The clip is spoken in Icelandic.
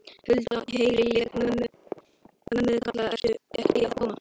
Hulda, heyri ég mömmu kalla, ertu ekki að koma?